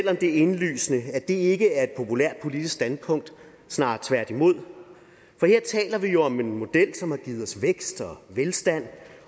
er indlysende at det ikke er et populært politisk standpunkt snarere tværtimod for her taler vi om en model som har givet os vækst og velstand